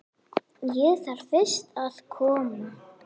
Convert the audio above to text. Ég þarf fyrst að koma